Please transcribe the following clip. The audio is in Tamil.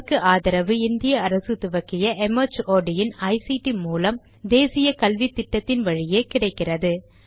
இதற்கு ஆதரவு இந்திய அரசு துவக்கிய ஐசிடி மூலம் தேசிய கல்வித்திட்டத்தின் வழியே கிடைக்கிறது